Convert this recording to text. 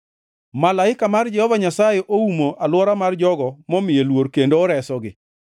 Malaika mar Jehova Nyasaye oumo alwora mar jogo momiye luor kendo oresogi.